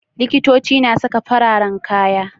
Likitoci na saka fararan kaya.